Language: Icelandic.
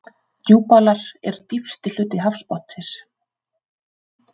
Djúpálar eru dýpsti hluti hafsbotnsins.